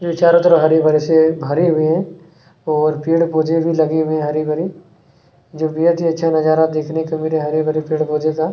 जो ये चारों तरफ से हरे-भरे से भरे हुए हैं और पेड़-पौधे भी लगे हुए हैं हरे-भरे जो बेहद ही अच्छा नजारा देखने को मिल रहा है हरे-भरे पेड़-पौधे का--